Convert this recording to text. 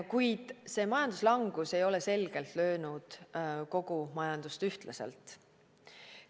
Kuid see majanduslangus ei ole selgelt löönud kogu majandust ühtlaselt.